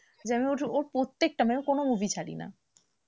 ওর প্রত্যেকটা মানে কোনো movie ছাড়ি না,